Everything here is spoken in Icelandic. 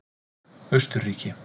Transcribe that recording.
Austurríki